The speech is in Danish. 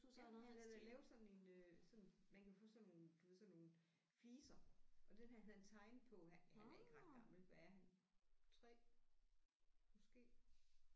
Ja han har da lavet sådan en øh sådan man kan få sådan nogle du ved sådan nogle fliser og dem havde han tegnet på han han er ikke ret gammel hvad er han 3 måske